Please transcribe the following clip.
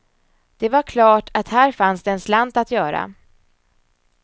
Det var klart att här fanns det en slant att göra.